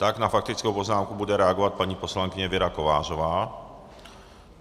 Tak na faktickou poznámku bude reagovat paní poslankyně Věra Kovářová.